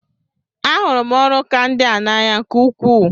A hụrụ m ọrụ ka ndị a n'anya nke ukwuu.